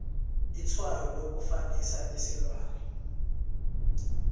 itshwayo lokufanisa isilwana